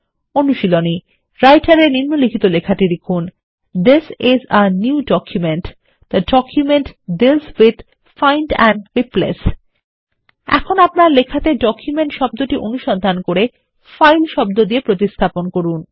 অনুশীলনী রাইটার এনিম্নলিখিত লেখাটি লিখুন This আইএস a নিউ documentথে document deals with find and replace এখন আপনার লেখাটি ডকুমেন্ট শব্দটি অনুসন্ধান করে ফাইল শব্দ দিয়ে প্রতিস্থাপন করুন